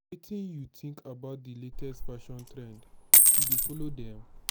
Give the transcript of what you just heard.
wetin you think about di latest fashion trends you dey follow dem?